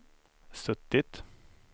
suttit